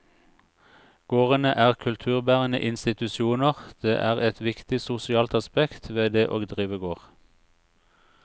Gårdene er kulturbærende institusjoner, det er et viktig sosialt aspekt ved det å drive gård.